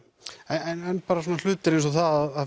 en bara svona hlutir eins og að